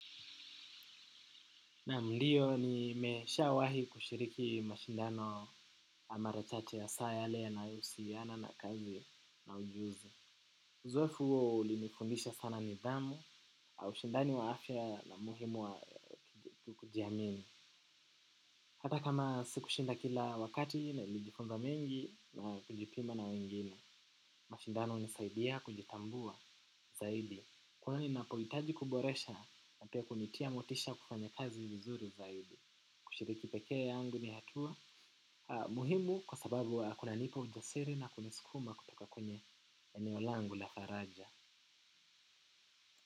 Naam ndio nimeshaa wahi kushiriki mashindano amara chache ya saa yale yanayo husiana na kazi na ujuzi. Uzoefu huo ulinifundisha sana nidhamu au shindani wa afya na muhimu wa kujiamini. Hata kama sikushinda kila wakati nailijifunza mengi na kujipima na wengine. Mashindano hunisaidia kujitambua zaidi. Kwani ninapohitaji kuboresha na pia kunitia motisha kufanya kazi vizuri zaidi. Kusiriki peke yangu ni hatua muhimu kwa sababu kuna nipa ujasiri na kunisukuma kutoka kwenye eneo langu la faraja.